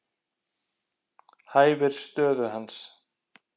Hæfir stöðu hans.